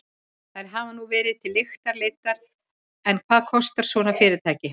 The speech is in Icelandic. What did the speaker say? Þær hafa nú verið til lykta leiddar en hvað kostar svona fyrirtæki?